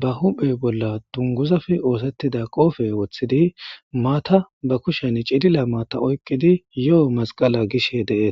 baa huphphe bolla duniguzappe othittida qoppe wothiddi mata baa kushshenni cilila mata oyikkidi yoo masqala gishshe de'etees.